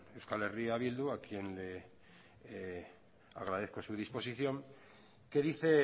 euskal herria bildu a quien le agradezco su disposición que dice